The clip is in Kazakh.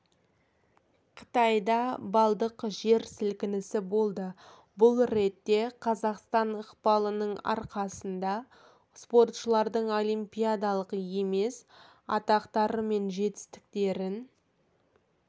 қытайда балдық жер сілкінісі болды бұл ретте қазақстан ықпалының арқасында спортшылардың олимпиадалық емес атақтары мен жетістіктерін